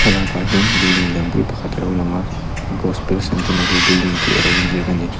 thlalakah hian building lian pui pakhat a lo lang a gospel centenary building tih a lo in ziak a ni.